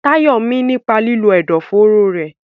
Tayo mí nípa lílo ẹ̀dọ̀fóró rẹ̀.